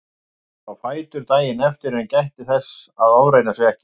Hann fór á fætur daginn eftir en gætti þess að ofreyna sig ekki.